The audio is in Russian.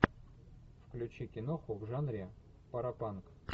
включи киноху в жанре паропанк